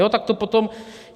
Jo, tak to potom...